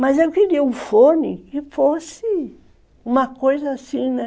Mas eu queria um fone que fosse uma coisa assim, né?